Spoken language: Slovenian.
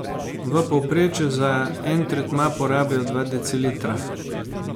V povprečju za en tretma porabijo dva decilitra.